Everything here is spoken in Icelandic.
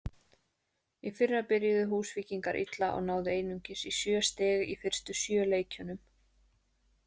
Í fyrra byrjuðu Húsvíkingar illa og náðu einungis í sjö stig í fyrstu sjö leikjunum.